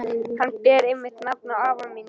Hann ber einmitt nafn afa míns.